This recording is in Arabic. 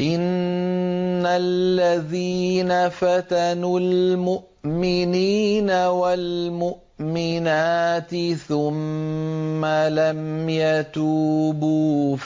إِنَّ الَّذِينَ فَتَنُوا الْمُؤْمِنِينَ وَالْمُؤْمِنَاتِ ثُمَّ لَمْ يَتُوبُوا